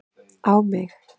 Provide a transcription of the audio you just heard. á mig.